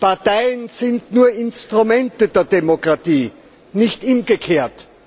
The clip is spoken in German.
Parteien sind nur Instrumente der Demokratie, nicht umgekehrt.